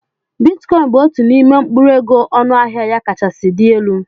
Bitikọin bụ otu n'ime mkpụrụ ego ọnụ ahịa ya kachasị dị elu.